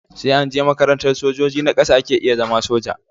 Sai anje makarantar sojoji na ƙasa ake iya zama soja